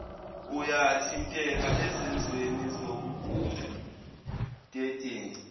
uyathinteka ezenzweni zobudedengu